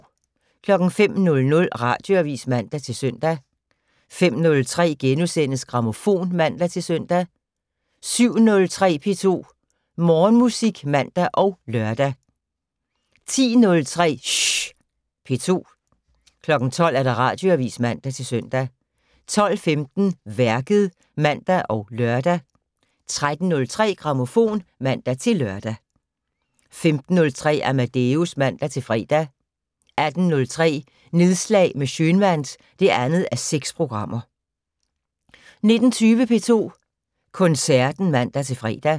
05:00: Radioavis (man-søn) 05:03: Grammofon *(man-søn) 07:03: P2 Morgenmusik (man og lør) 10:03: Schh P2 12:00: Radioavis (man-søn) 12:15: Værket (man og lør) 13:03: Grammofon (man-lør) 15:03: Amadeus (man-fre) 18:03: Nedslag med Schønwandt (2:6) 19:20: P2 Koncerten (man-fre)